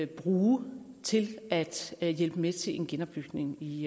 bruge til at at hjælpe med til en genopbygning i